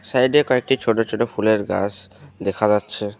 Side -এ কয়েকটি ছোট ছোট ফুলের গাস দেখা যাচ্ছে।